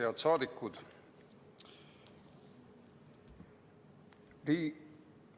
Head saadikud!